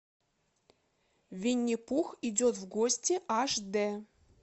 винни пух идет в гости аш д